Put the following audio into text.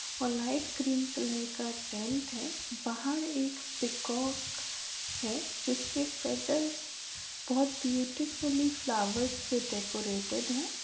और light green colour का tent है बाहर एक पीकॉक है जिसके फैदर्स बहुत ब्युटीफुल्ली फ्लावर्स से डेकोरेटेड हैं।